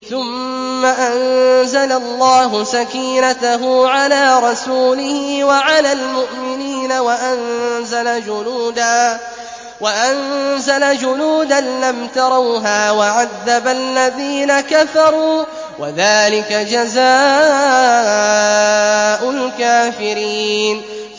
ثُمَّ أَنزَلَ اللَّهُ سَكِينَتَهُ عَلَىٰ رَسُولِهِ وَعَلَى الْمُؤْمِنِينَ وَأَنزَلَ جُنُودًا لَّمْ تَرَوْهَا وَعَذَّبَ الَّذِينَ كَفَرُوا ۚ وَذَٰلِكَ جَزَاءُ الْكَافِرِينَ